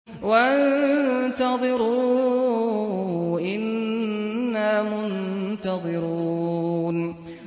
وَانتَظِرُوا إِنَّا مُنتَظِرُونَ